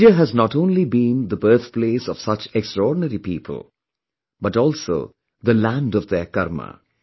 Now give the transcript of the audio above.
India has not only been the birthplace of such extraordinary people, but also the land of their karma